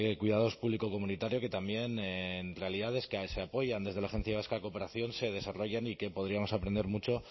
cuidados público comunitario que también realidades que se apoyan desde la agencia vasca de cooperación se desarrollan y que podríamos aprender mucho